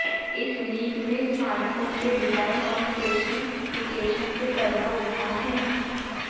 इस लीक में स्मार्टफोन के डिजाईन और स्पेसिफिकेशन से पर्दा उठा है